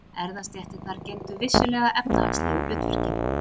Erfðastéttirnar gegndu vissulega efnahagslegu hlutverki.